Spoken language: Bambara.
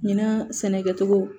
Ɲinan sɛnɛkɛcogo